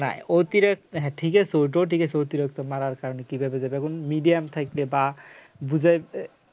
না না অতিরিক্ত হ্যাঁ ঠিকই আছে ওটও ঠিক আছে অতিরিক্ত মারার কারণে কিভাবে যে দেখুন medium থাকলে বা বুঝাইবে